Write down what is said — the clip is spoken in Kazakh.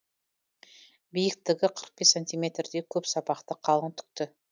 биіктігі қырық бес сантиметрдей көп сабақты қалың түкті